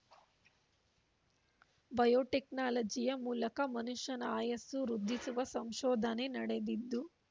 ಬಯೋಟೆಕ್ನಾಲಜಿಯ ಮೂಲಕ ಮನುಷ್ಯನ ಆಯಸ್ಸು ವೃದ್ಧಿಸುವ ಸಂಶೋಧನೆ ನಡೆದಿದ್ದು